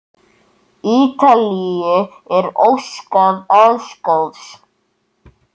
Ítalíu er óskað alls góðs.